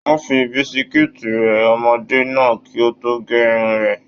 Wọn fí bisikiiti rẹ ọmọdé náà kí o to ge irun rẹ.